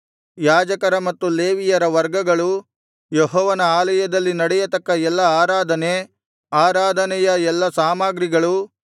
ಯಾಜಕರ ಮತ್ತು ಲೇವಿಯರ ವರ್ಗಗಳು ಯೆಹೋವನ ಆಲಯದಲ್ಲಿ ನಡೆಯತಕ್ಕ ಎಲ್ಲಾ ಆರಾಧನೆ ಆರಾಧನೆಯ ಎಲ್ಲಾ ಸಾಮಗ್ರಿಗಳು